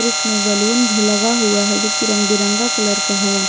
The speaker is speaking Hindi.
इसमें बलून भी लगा हुआ है जो कि रंग बिरंगा कलर का है।